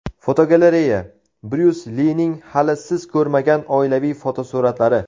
Fotogalereya: Bryus Lining hali siz ko‘rmagan oilaviy fotosuratlari.